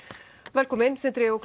velkomin Sindri og